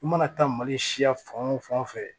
I mana taa mali siya fan o fan fɛ